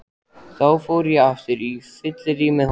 Þá fór ég aftur á fyllerí með honum.